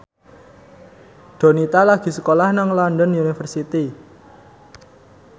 Donita lagi sekolah nang London University